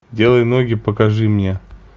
делай ноги покажи мне